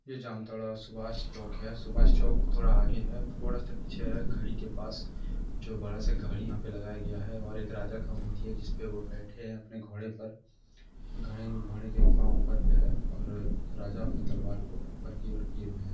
ये जामताड़ा सुभास चौक है सुभास चौक थोड़ा सा आगे है थोड़ा सा पीछे है घड़ी के पास जो बड़ा सा घड़ी यहाँ पे लगाएं गया है और एक राजा का मूर्ति है जिसपे वो बैठे है घोड़े पर घोड़े के एक पाव ऊपर पे है और राजा अपने तलवार को ऊपर की ओर कीए हुए हैं।